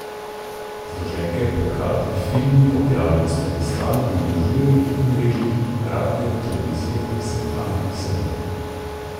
Zloženke, plakati, filmi, objave na spletni strani in družbenih omrežjih, radio, televizija, seminarji, sejmi.